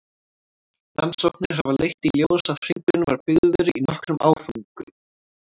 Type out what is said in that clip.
Rannsóknir hafa leitt í ljós að hringurinn var byggður í nokkrum áföngum.